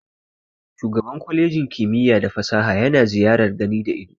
Shugaban kwalejin kimiyya da fasaha yana ziyar gani da ido.